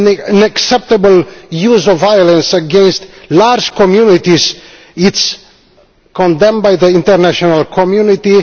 unacceptable use of violence against large communities is condemned by the international community.